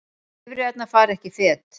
Bifreiðarnar fara ekki fet